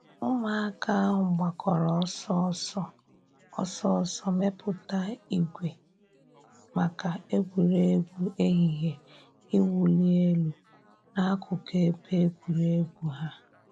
Ụmụaka ahụ gbakọrọ ọsọ ọsọ ọsọ ọsọ mepụta ìgwè maka egwuregwu ehihie iwuli elu n'akụkụ ebe egwuregwu ha.